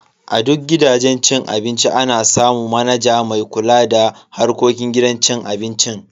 A duk gidajen cin abinci ana samu manaja mai kula da harkokin gidan cin abincin.